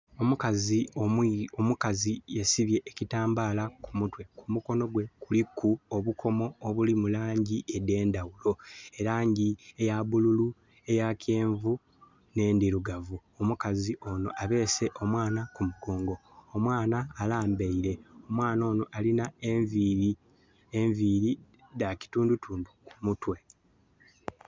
Omukazi ...... Omukazi ye sibye ekitambala ku mutwe. Ku mukono gwe kuliku obukomo obulimu langi ede ndawulo. Elangi eya bululu, eya kyenvu ne ndirugavu. Omukazi ono abese omwana ku mugongo. Omwana alambaire. Omwana ono alina enviri. Enviri da kitundutundu ku mutwe